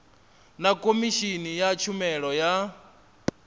na khomishini ya tshumelo ya